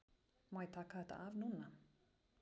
Má ég taka þetta af núna?